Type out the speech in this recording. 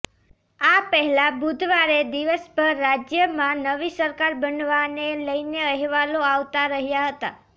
આ પહેલા બુધવારે દિવસભર રાજ્યમાં નવી સરકાર બનવાને લઈને અહેવાલો આવતા રહ્યા હતા